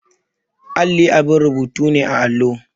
Alli abin rubutu ne a allo.